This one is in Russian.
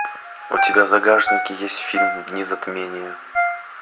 у тебя в загашнике есть фильм дни затмения